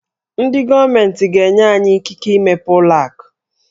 Ndị gọọmentị ga-enye anyị ikike imepe ụlọ akụ.